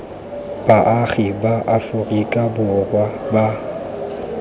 baagi ba aforika borwa ba